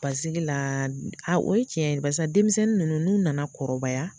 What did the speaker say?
Paseke la o ye tiɲɛ ye, barisa denmisɛnnin ninnu n'u nana kɔrɔbaya